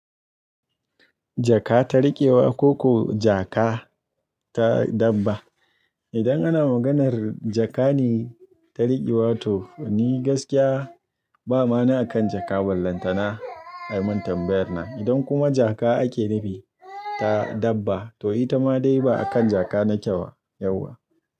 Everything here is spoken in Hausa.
Jaka ta riƙewa ko kuwa jaka ta dabba? Idan ana maganar jaka ne ta riƙewa to ni gaskiya ba ma'ana akan jaka ballantana a mintan bayarna. Idan kuma jaka ake nufi ta dabba to ita ma dai ba akan jaka na kyau yauwa.